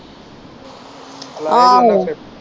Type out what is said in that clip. ਆਹੋ